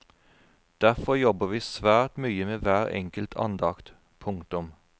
Derfor jobber vi svært mye med hver enkelt andakt. punktum